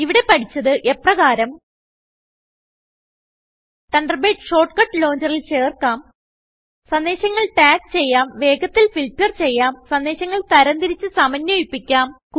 ഇവിടെ പഠിച്ചത് എപ്രകാരം160 തണ്ടർബേഡ് ഷോർട്ട് കട്ട് ലോഞ്ചറിൽ ചേർക്കാം സന്ദേശങ്ങൾ ടാഗ് ചെയ്യാം വേഗത്തിൽ ഫിൽറ്റർ ചെയ്യാം സന്ദേശങ്ങൾ തരംതിരിച്ച് സമന്വയിപ്പിക്കാം